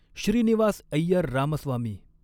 Shrinivas Iyer Ramaswamy